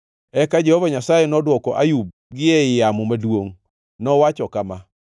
Eka Jehova Nyasaye nodwoko Ayub gi ei yamo maduongʼ. Nowacho kama: